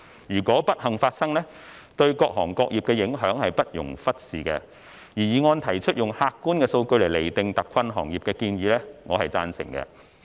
如果不幸發生，對各行各業的影響不容忽視，而議案提出以客觀的數據來釐定特困行業的建議，我是贊成的。